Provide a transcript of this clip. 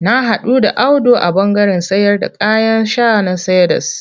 Na haɗu da Audu a ɓandaren sayarda kayan sha na Cedars.